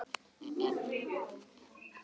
En hún hefði unnið þarna.